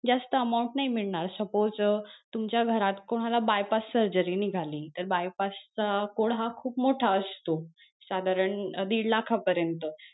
जास्त amount नाही मिळणार suppose अं तुमच्या घरात कोणाला bypass surgery निघाली तर bypass चा code हा खूप मोठा असत साधारण दीड लाख पर्यंत.